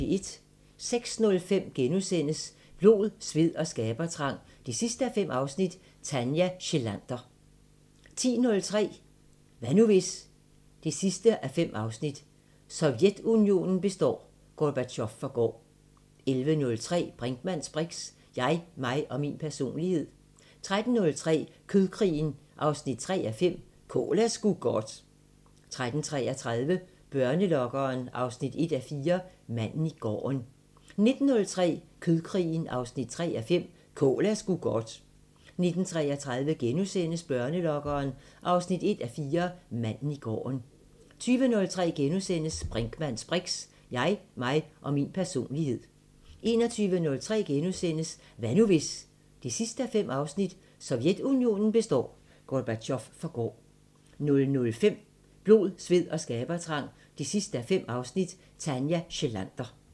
06:05: Blod, sved og skabertrang 5:5 – Tanja Schlander * 10:03: Hvad nu hvis...? 5:5 – Sovjetunionen består, Gorbatjov forgår 11:03: Brinkmanns briks: Jeg, mig og min personlighed 13:03: Kødkrigen 3:5 – Kål er sgu godt 13:33: Børnelokkeren 1:4 – Manden i gården 19:03: Kødkrigen 3:5 – Kål er sgu godt 19:33: Børnelokkeren 1:4 – Manden i gården * 20:03: Brinkmanns briks: Jeg, mig og min personlighed * 21:03: Hvad nu hvis...? 5:5 – Sovjetunionen består, Gorbatjov forgår * 00:05: Blod, sved og skabertrang 5:5 – Tanja Schlander